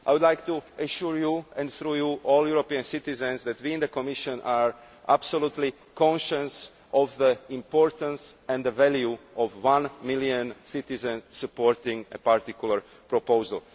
debate. I would like to assure you, and through you all European citizens, that we in the Commission are absolutely conscious of the importance and the value of one million citizens supporting a particular proposal.